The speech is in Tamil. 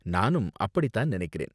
நானும் அப்படி தான் நினைக்கிறேன்.